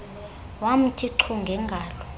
wamthi chu ngengalo